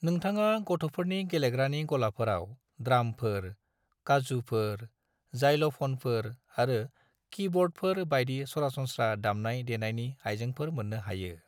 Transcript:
नोंथाङा गथ'फोरनि गेलेग्रानि गलाफोराव ड्रामफोर, काजुफोर, जाइलोफोनफोर आरो कीबर्डफोर बायदि सरासनस्रा दामनाय देनायनि आयजेंफोर मोन्नो हायो।